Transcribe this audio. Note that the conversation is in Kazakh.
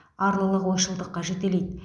арлылық ойшылдыққа жетелейді